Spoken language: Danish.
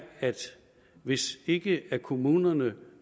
at hvis ikke kommunerne